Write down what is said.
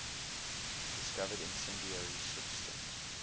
discovered incendiary substance